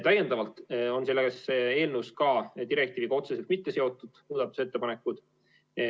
Täiendavalt on selles eelnõus ka direktiiviga otseselt mitte seotud muudatusettepanekud.